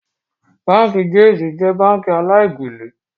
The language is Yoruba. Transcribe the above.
Báńkì Jaiz jẹ́ báńkì aláì-gbélè